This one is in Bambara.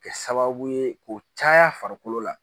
Kɛ sababu ye k'o caya farikolo la